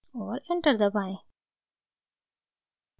और enter दबाएं